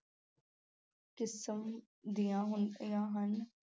ਕਿਸਮ ਦੀਆਂ ਹੁੰਦੀਆਂ ਹਨ।